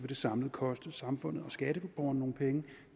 det samlet koste samfundet og skatteborgerne nogle penge